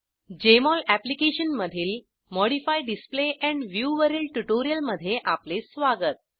Jmol अप्लिकेशनमधील modify display and view वरील ट्यूटोरियलमध्ये आपले स्वागत